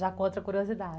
Já com outra curiosidade.